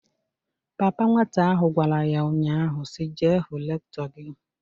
Papa nwata ahụ gwara ya nnya ahụ si, "Jee hụ Rektọ gị!"